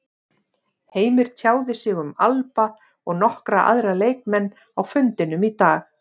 Heimir tjáði sig um Alba og nokkra aðra leikmenn á fundinum í dag.